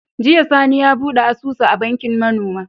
Jiya sani ya buɗe asusu a bankin ma noma